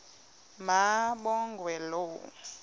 ma kabongwe low